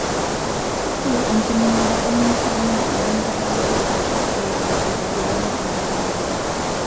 Ore enkiminata olng'usil naa enenkata dorrop aashu eedo aitegemea entoki nayawua.